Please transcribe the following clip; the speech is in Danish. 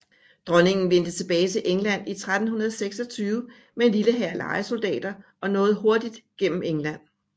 Dronningen vendte tilbage til England i 1326 med en lille hær lejesoldater og nåede hurtigt gennem England